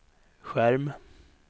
skärm